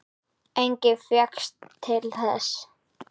Enginn fékkst til þess.